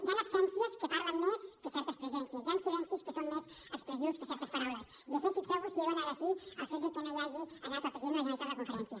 hi han absències que parlen més que certes presències hi han silencis que són més expressius que certes paraules de fet fixeu vos si dona de si el fet de que no hi hagi anat el president de la generalitat a la conferència